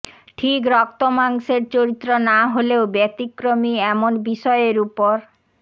ঠিক রক্তমাংসের চরিত্র না হলেও ব্যতিক্রমী এমন বিষয়ের ওপর